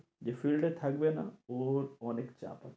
যে field এ থাকে না ওর অনেক চাপ আছে